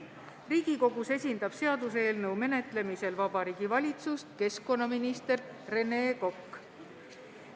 Riigikogus esindab seaduseelnõu menetlemisel Vabariigi Valitsust keskkonnaminister Rene Kokk.